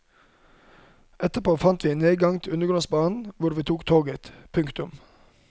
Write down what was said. Etterpå fant vi en nedgang til undergrunnsbanen hvor vi tok toget. punktum